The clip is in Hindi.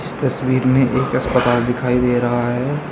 इस तस्वीर में एक अस्पताल दिखाई दे रहा है।